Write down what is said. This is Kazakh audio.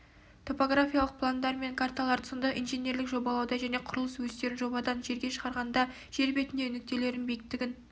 топографиялық пландар мен карталарды сондай-ақ инженерлік жобалауда және құрылыс өстерін жобадан жерге шығарғанда жер бетіндегі нүктелердің биіктігін